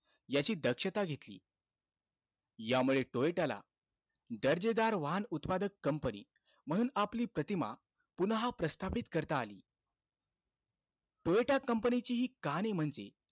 याची दक्षता घेतली. यामुळे टोयोटाला, दर्जेदार वाहन उत्पादक company म्हणून आपली प्रतिमा, पुन्हा प्रस्थापित करता आली. टोयोटा company ची हि कहाणी म्हणजे,